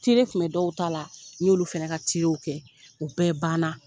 kun bɛ dɔw ta la n y'olu fana ka tirew kɛ u bɛɛ ban na.